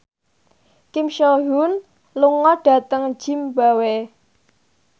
Kim So Hyun lunga dhateng zimbabwe